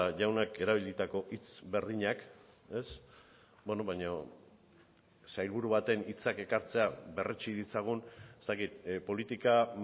jaunak erabilitako hitz berdinak baino sailburu baten hitzak ekartzea berretsi ditzagun ez dakit politika